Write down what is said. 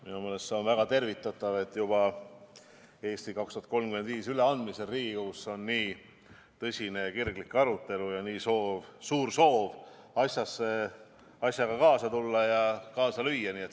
Minu meelest see on väga tervitatav, et juba "Eesti 2035" üleandmisel Riigikogus on nii tõsine ja kirglik arutelu, suur soov asjaga kaasa tulla, kaasa lüüa.